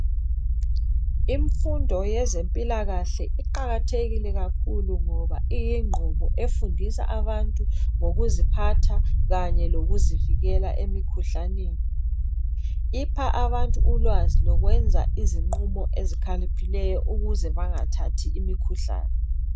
Infundo yezempilakahle iqakathekile kakhulu ngoba iyingqubo .Efundisa abantu ngokuziphatha kanye lokuzivikela emikhuhlanini .Ipha abantu ulwazi lokwenza izinqumo ezikhaliphileyo ukuze bangathathi imikhuhlani.